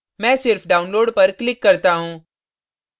मैं सिर्फ download पर click करता हूँ